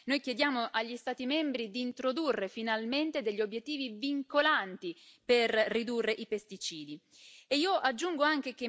Con questa risoluzione, noi chiediamo agli Stati membri di introdurre finalmente degli obiettivi vincolanti per ridurre i pesticidi.